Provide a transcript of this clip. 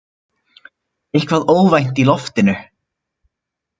Eitthvað óvænt í loftinu.